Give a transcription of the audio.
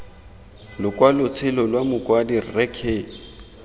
lokwalotshelo lwa mokwadi rre k